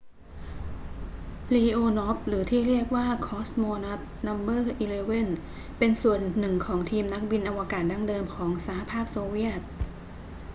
leonov หรือที่เรียกกันว่า cosmonaut no 11 เป็นส่วนหนึ่งของทีมนักบินอวกาศดั้งเดิมของสหภาพโซเวียต